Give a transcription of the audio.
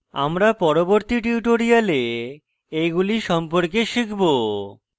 আমরা পরবর্তী tutorials এইগুলি সম্পর্কে শিখব